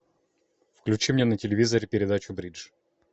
включи мне на телевизоре передачу бридж